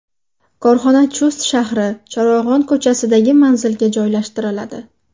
Korxona Chust shahri, Charog‘on ko‘chasidagi manzilga joylashtiriladi.